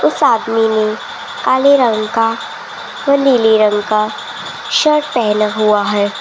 उस आदमी ने काले रंग का व नीले रंग का शर्ट पहना हुआ है।